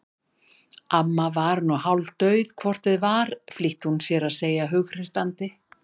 Amma var nú hálfdauð hvort eð var flýtti hún sér að segja hughreystandi.